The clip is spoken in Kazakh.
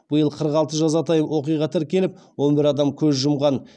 биыл қырық алты жазатайым оқиға тіркеліп он бір адам көз жұмған